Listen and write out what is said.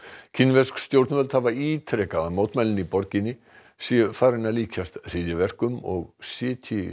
kínversk stjórnvöld hafa ítrekað að mótmælin í borginni séu farin að líkjast hryðjuverkum og sitji